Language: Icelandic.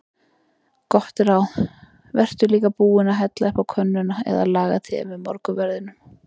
Gott ráð: Vertu líka búinn að hella upp á könnuna eða laga te með morgunverðinum.